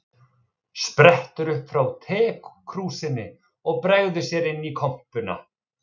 Sprettur upp frá tekrúsinni og bregður sér inn í kompuna.